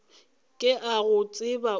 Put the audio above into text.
ke a go tseba o